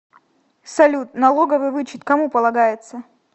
салют налоговый вычет кому полагается